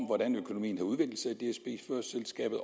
hvordan økonomien har udviklet sig i selskabet